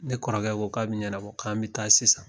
Ne kɔrɔkɛ ko k'a bi ɲɛnabɔ k'an bi taa sisan